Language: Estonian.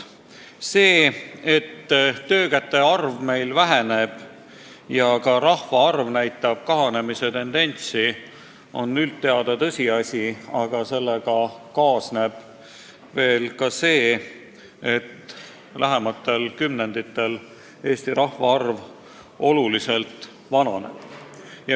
See, et töökäte arv Eestis väheneb ja ka rahvaarv näitab kahanemise tendentsi, on üldteada tõsiasi, aga sellega kaasneb ka see, et lähimatel kümnenditel Eesti rahvastik oluliselt vananeb.